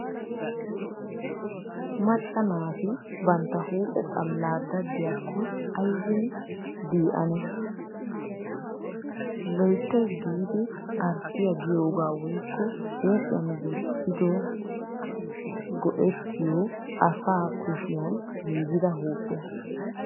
Macca naati bantta huuphphe xallaa daddiyaakko aybin dii ane? Loyttayis giidi arttiyaa giyoogaa woykko huuphiyan gujodan go'ettiyo asa kushiyan giigida huuphiya.